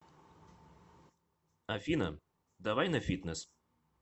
афина давай на фитнес